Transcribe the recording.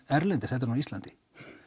erlendis heldur en á Íslandi